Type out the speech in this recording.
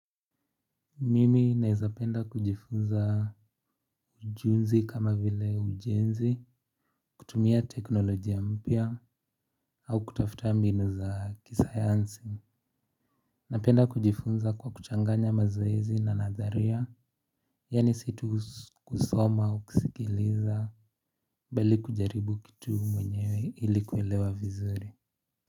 Mimi naweza penda kujifunza ujuzi kama vile ujenzi kutumia teknolojia mpya au kutafuta mbinu za kisayansi. Napenda kujifunza kwa kuchanganya mazoezi na nadharia. Yaani si tu kusoma au kusikiliza bali kujaribu kitu mwenyewe ili kuelewa vizuri.